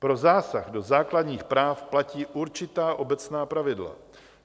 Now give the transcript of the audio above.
Pro zásah do základních práv platí určitá obecná pravidla.